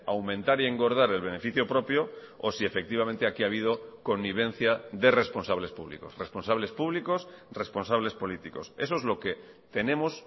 aumentar y engordar el beneficio propio o si efectivamente aquí ha habido connivencia de responsables públicos responsables públicos responsables políticos eso es lo que tenemos